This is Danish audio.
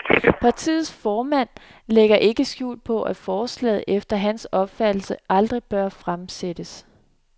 Partiets formand lægger ikke skjul på, at forslaget efter hans opfattelse aldrig bør fremsættes.